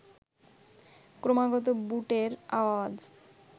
ক্রমাগত বুটের আওয়াজ